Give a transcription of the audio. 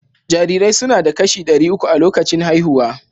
Jarirai suna da kashi ɗari uku a lokacin haihuwa